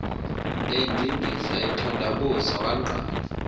endindiza ethandabuza wangqala